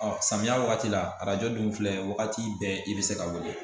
Ɔ samiya wagati la arajo dun filɛ wagati bɛɛ i bɛ se ka wele